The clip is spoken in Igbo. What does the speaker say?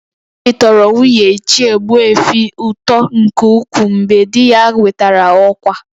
Obi tọrọ nwunye Ichie Ogbuefi ụtọ nke ukwuu mgbe di ya nwetara ọkwa